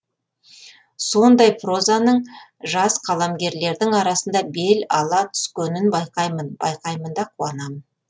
сондай прозаның жас қаламгерлердің арасында бел ала түскенін байқаймын байқаймын да қуанамын